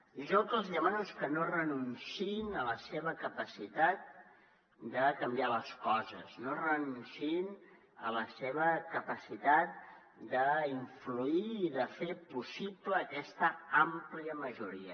i jo el que els demano és que no renunciïn a la seva capacitat de canviar les coses no renunciïn a la seva capacitat d’influir i de fer possible aquesta àmplia majoria